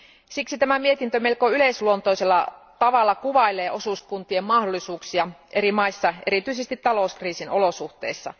Siksi tämä mietintö melko yleisluontoisella tavalla kuvailee osuuskuntien mahdollisuuksia eri maissa, erityisesti talouskriisin olosuhteissa.